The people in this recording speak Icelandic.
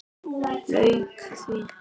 Lauk því.